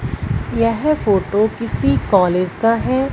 यह फोटो किसी कॉलेज का है।